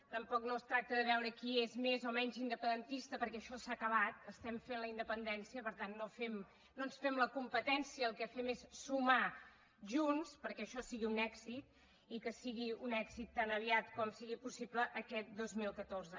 tampoc no es tracta de veure qui és més o menys independentista perquè això s’ha acabat estem fent la independència per tant no ens fem la competència el que fem és sumar junts perquè això sigui un èxit i que sigui un èxit tan aviat com sigui possible aquest dos mil catorze